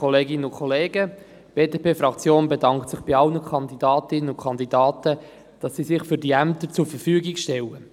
Die BDP-Fraktion bedankt sich bei allen Kandidatinnen und Kandidaten dafür, dass sie sich für diese Ämter zur Verfügung stellen.